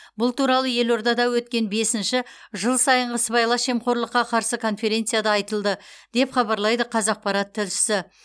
бұл туралы елордада өткен бесінші жыл сайынғы сыбайлас жемқорлыққа қарсы конференцияда айтылды деп хабарлайды қазақпарат тілшісі